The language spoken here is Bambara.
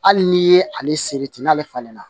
Hali n'i ye ale seriti n'ale falenna